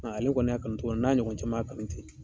Ale kɔni y'a kanu cogo min na n'a ɲɔgɔn caman y'a kanu ten.